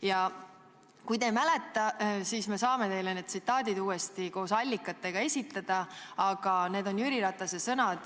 Ja kui te ei mäleta, siis me saame teile need tsitaadid koos allikatega esitada – need on Jüri Ratase sõnad.